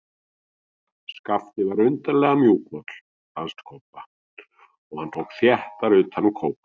Skapti var undarlega mjúkmáll, fannst Kobba, og hann tók þéttar utan um kópinn.